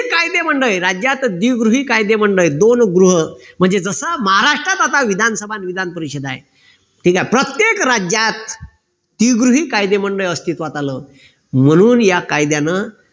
कायदेमंडळी राज्यात द्विगृही कायदेमंडळी आहे दोन गृह कि जसा महाराष्ट्रात आता विधानसभा न विधानपरिषद आहे ठीक आहे प्रत्येक राज्यात द्विगृही कायदेमंडळ अस्तित्वात आलं म्हणून या कायद्यानं